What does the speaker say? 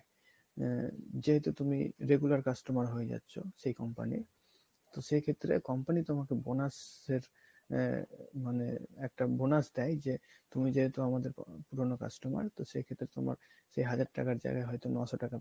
আহ যেহেতু তুমি regular customer হয়ে যাচ্ছ সেই company র তো সেই ক্ষেত্রে company তোমাকে bonus আহ মানে একটা bonus দেয় যে তুমি যেহেতু আমাদের পুরোনো customer তো সেক্ষেত্রে তোমার সেই হাজার টাকার জায়গায় হয়তো নয়শো টাকার